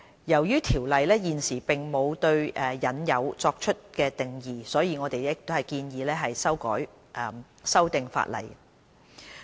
由於《條例》現時並無對"引誘"作出定義，所以我們建議修訂法例。